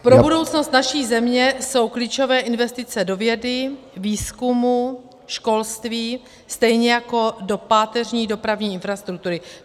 Pro budoucnost naší země jsou klíčové investice do vědy, výzkumu, školství, stejně jako do páteřní dopravní infrastruktury.